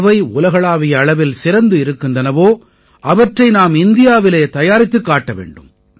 எவை உலகளாவிய அளவில் சிறந்து இருக்கின்றனவோ அவற்றை நாம் இந்தியாவிலே தயாரித்துக் காட்ட வேண்டும்